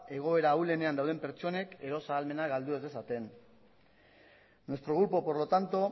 egoera ahulenean dauden pertsonek eros ahalmena galdu ez dezaten nuestro grupo por lo tanto